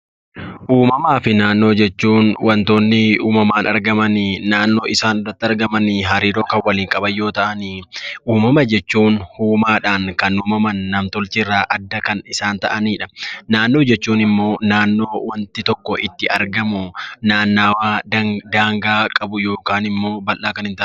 Uumamaa fi naannoo jechuun wantoonni uumamaan argaman naannoo isaan irratti argaman hariiroo kan waliin qaban yoo ta'an uumama jechuun uumaadhaan kan uumaman nam-tolcheerraa kan adda ta'anidha. Naannoo jechuun immoo bakka wanti tokko itti argamu naannoo daangaa qabu yookiin immoo bal'aa kan hin taanedha.